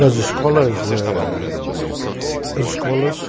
Das escolas, eh... As escolas...